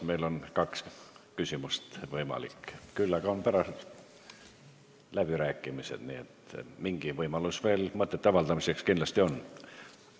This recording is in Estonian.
Meil on võimalik esitada kaks küsimust, küll aga on pärast läbirääkimised, nii et mingi võimalus veel mõtete avaldamiseks kindlasti on.